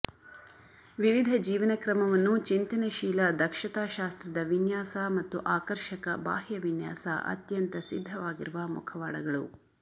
ವಿವಿಧ ಜೀವನಕ್ರಮವನ್ನು ಚಿಂತನಶೀಲ ದಕ್ಷತಾಶಾಸ್ತ್ರದ ವಿನ್ಯಾಸ ಮತ್ತು ಆಕರ್ಷಕ ಬಾಹ್ಯ ವಿನ್ಯಾಸ ಅತ್ಯಂತ ಸಿದ್ದವಾಗಿರುವ ಮುಖವಾಡಗಳು